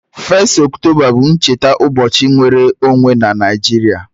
1st October bu ncheta ubochi nnwere onwe na Naijiria